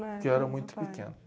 Porque eu era muito pequeno.